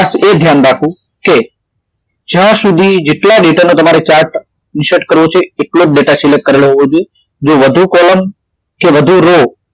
એ ધ્યાન રાખવું કે જયા સુધી જેટલા ડેટા નો chart insert કરવો છે એટલો જ ડેટા select કરેલો હોવો જોઈએ જે વધુ column કે વધુ row